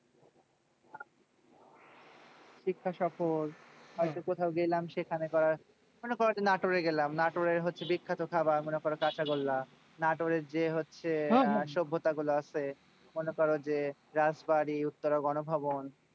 শিক্ষা সফর হয়তো কোথাও গেলাম সেখানে করা মানে কোনো একটা নাটোরে গেলাম। নাটোরের হচ্ছে বিখ্যাত খাবার হচ্ছে কাঁচাগোল্লা। নাটোরের যে হচ্ছে সভ্যতা গুলো আছে, মনে করো যে রাজবাড়ী উত্তরে গণভবন।